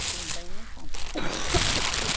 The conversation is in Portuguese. e quem tem não compra.